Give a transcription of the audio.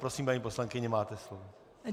Prosím, paní poslankyně, máte slovo.